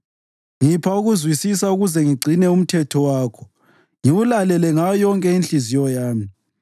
Ngipha ukuzwisisa ukuze ngigcine umthetho wakho ngiwulalele ngayo yonke inhliziyo yami.